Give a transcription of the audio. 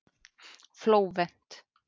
Flóvent